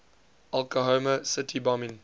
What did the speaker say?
oklahoma city bombing